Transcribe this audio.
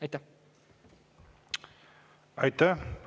Aitäh!